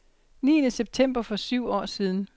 Niende september for syv år siden .